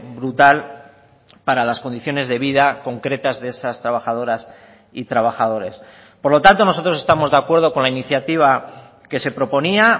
brutal para las condiciones de vida concretas de esas trabajadoras y trabajadores por lo tanto nosotros estamos de acuerdo con la iniciativa que se proponía